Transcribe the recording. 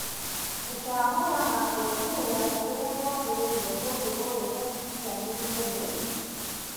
Gũcagũra na kũrũmĩrĩra kũrĩa kwagĩrĩire ũndũ ũyũ ũkinyanĩrio nĩ